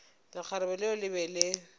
lekgarebe leo le be le